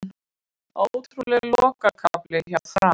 Ótrúlegur lokakafli hjá Fram